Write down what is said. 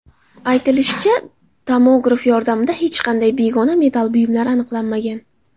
Aytilishicha, tomograf yordamida hech qanday begona metall buyumlar aniqlanmagan.